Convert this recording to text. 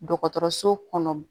Dɔgɔtɔrɔso kɔnɔ